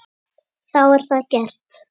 Þá er það gert.